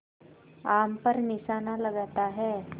आम पर निशाना लगाता है